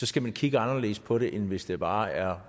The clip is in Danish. skal man kigge anderledes på det end hvis det bare er